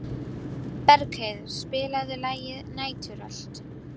Bergheiður, spilaðu lagið „Næturrölt“.